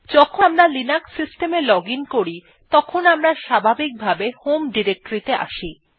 যখন আমরা Linux system এ লজিন করি তখন আমরা স্বাভাবিকভাবে হোম ডিরেক্টরি আসি